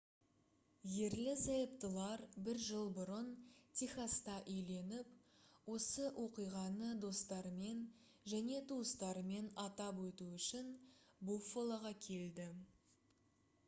ерлі-зайыптылар бір жыл бұрын техаста үйленіп осы оқиғаны достарымен және туыстарымен атап өту үшін буффалоға келді